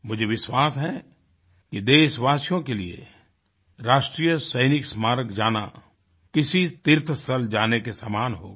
मुझे विश्वास है ये देशवासियों के लिए राष्ट्रीय सैनिक स्मारक जाना किसी तीर्थ स्थल जाने के समान होगा